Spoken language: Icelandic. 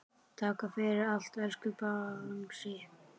Takk fyrir allt, elsku Bangsi.